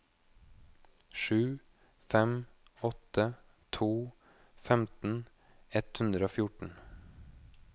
sju fem åtte to femten ett hundre og fjorten